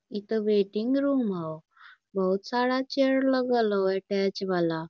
इ तो waiting room हाउ बहुत सारा चेयर लगल हाउ अटैच वाला --